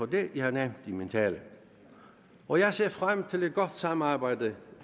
det jeg har nævnt i min tale og jeg ser frem til et godt samarbejde